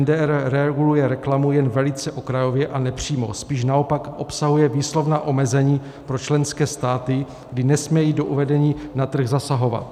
MDR reguluje reklamu jen velice okrajově a nepřímo, spíš naopak obsahuje výslovná omezení pro členské státy, kdy nesmějí do uvádění na trh zasahovat.